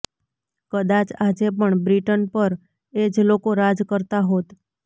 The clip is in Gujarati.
કદાચ આજે પણ બ્રિટન પર એ જ લોકો રાજ કરતા હોત